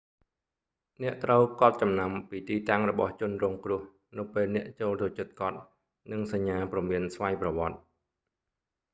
អ្នកត្រូវកត់ចំណាំពីទីតាំងរបស់ជនរងគ្រោះនៅពេលអ្នកចូលទៅជិតគាត់ និងសញ្ញាព្រមានស្វ័យប្រវត្តិ